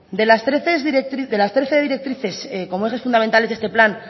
de las trece directrices como ejes fundamentales de este plan